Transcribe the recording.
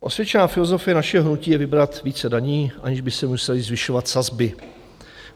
Osvědčená filozofie našeho hnutí je vybrat více daní, aniž by se musely zvyšovat sazby.